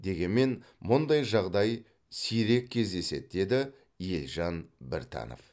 дегенмен мұндай жағдай сирек кездеседі деді елжан біртанов